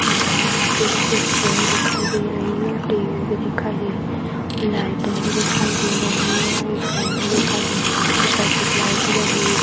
यहां पे कुछ चेयर दिखाई दे रही है और टेबल भी दिखाई दे रही हैं लाइटे भी दिखाई दे रही हैं और एक फेन भी देखाई दे रहा है लगी हुई --